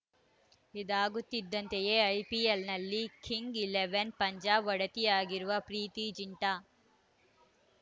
ಇದಾಗುತ್ತಿದ್ದಂತೆಯೇ ಐಪಿಎಲ್‌ನಲ್ಲಿ kings eleven Punjab ಒಡತಿಯಾಗಿರುವ ಪ್ರೀತಿ ಝಿಂಟಾ